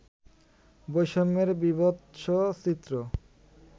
বৈষম্যের বিভৎস চিত্র